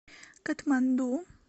катманду